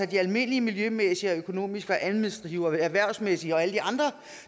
de almindelige miljømæssige og økonomiske og administrative og erhvervsmæssige ting og alle de andre